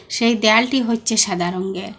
সেই দেয়ালটি হচ্ছে সাদা রঙ্গের।